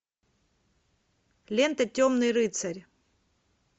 лента темный рыцарь